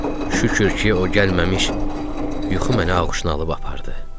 Şükür ki, o gəlməmiş yuxu məni ağuşuna alıb apardı.